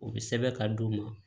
U bɛ sɛbɛn ka d'u ma